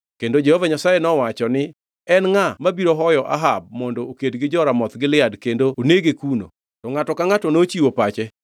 Kendo Jehova Nyasaye nowacho ni, ‘En ngʼa mabiro hoyo Ahab mondo oked gi jo-Ramoth Gilead kendo onege kuno?’ “To ngʼato ka ngʼato nochiwo pache.